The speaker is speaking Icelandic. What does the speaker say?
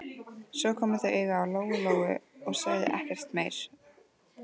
Svo komu þau auga á Lóu Lóu og sögðu ekkert meira.